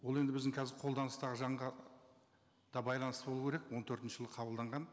ол енді біздің қазір қолданыстағы заңға да байланысты болу керек он төртінші жылы қабылданған